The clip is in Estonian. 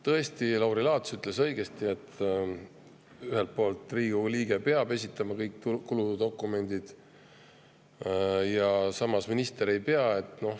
Tõesti, Lauri Laats ütles õigesti, et Riigikogu liige peab esitama kõik kuludokumendid, aga samas minister ei pea.